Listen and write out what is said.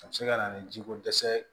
A bɛ se ka na ni jiko dɛsɛ ye